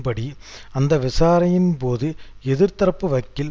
படி அந்த விசாரணையின் போது எதிர் தரப்பு வக்கீல்